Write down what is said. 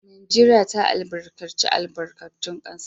Najeriya ta albarkaci albarkatun kasa